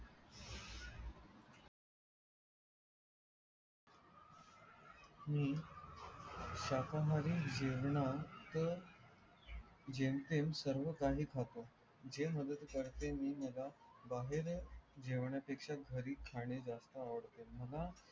हम्म शाखाहरी जेवण तर जेम तेम सर्व काही खातात जे मदत करते मी मला बाहेर जेवण्या पेक्षा घरी खाणे जास्त आवडते मला